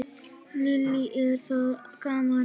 Lillý: Er það gaman?